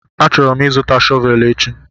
Achọrọ m ịzụta shọvel echi